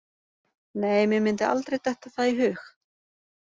Nei, mér myndi aldrei detta það í hug.